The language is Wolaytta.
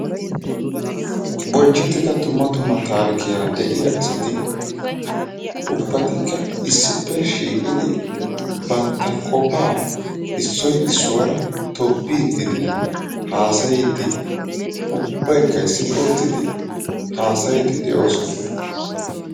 Bonchchettida dumma dumma taarikiyaara de"iyaa asati ubbatikka issippe shiiqidi bantta qofaa issoy issuwaara tobbiiddinne haasayiiddi ubbaykka issippe uttidi haasayiiddi de'oosona.